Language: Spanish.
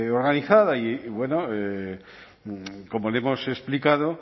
organizada y bueno como le hemos explicado